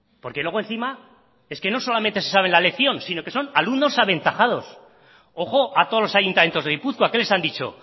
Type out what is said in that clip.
porque luego encima es que no solamente se saben la lección sino que son alumnos aventajados ojo a todos los ayuntamientos de gipuzkoa qué les han dicho